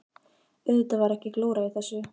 Auðvitað var ekki glóra í þessu.